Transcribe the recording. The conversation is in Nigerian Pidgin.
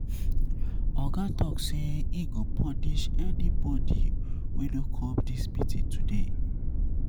Oga tok sey im go punish anybodi wey no come dis meeting today.